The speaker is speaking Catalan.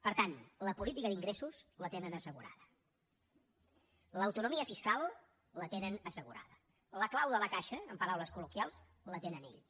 per tant la política d’ingressos la tenen assegurada l’autonomia fiscal la tenen assegurada la clau de la caixa en paraules col·loquials la tenen ells